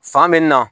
Fan bɛ na